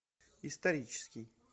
исторический